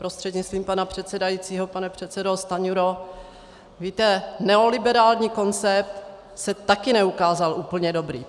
Prostřednictvím pana předsedajícího pane předsedo Stanjuro, víte, neoliberální koncept se také neukázal úplně dobrý.